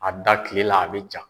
A da kilela a bɛ ja.